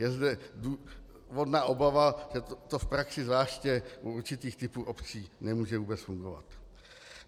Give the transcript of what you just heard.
Je zde důvodná obava, že to v praxi zvláště u určitých typů obcí nemůže vůbec fungovat.